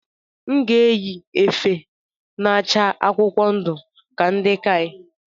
M ga-eyi efe na-acha akwụkwọ ndu ka ndi KAI